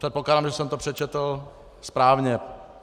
Předpokládám, že jsem to přečetl správně.